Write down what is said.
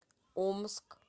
омск